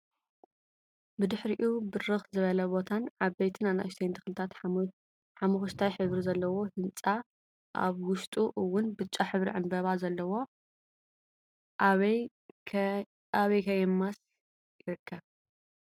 ብድሕሪኡ ብርክ ዝበለ ቦታን ዓበይትን ኣናእሽተይን ተክልታትን ሓሞሽታይ ሕብሪ ዘለዎ ህንፃ ኣብ ውሽጡ እውን ብጫ ሕብሪ ዕንበባ ዘለዎ ኣበይ ከየማሰ ይርከብ?